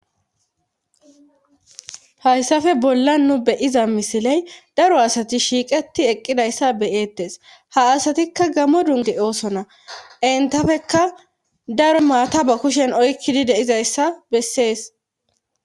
hayssafe bolla nu beyiza misiley daro asati shiiqeti eqqidayssa beyeettes ha asatikka gamo dunge oosona entafekka daro maata ba kushen oykkidi deizayssa bessees